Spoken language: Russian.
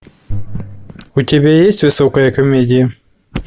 у тебя есть высокая комедия